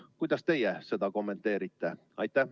Kuidas teie seda kommenteerite?